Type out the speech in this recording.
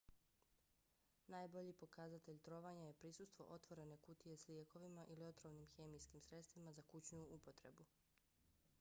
najbolji pokazatelj trovanja je prisustvo otvorene kutije s lijekovima ili otrovnim hemijskim sredstvima za kućnu upotrebu